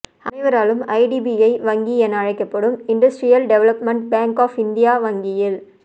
அனைவராலும் ஐடிபிஐ வங்கி என அழைக்கப்படும் industrial development bank of India வங்கியில்